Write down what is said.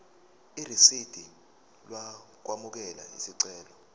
irisidi lokwamukela isicelo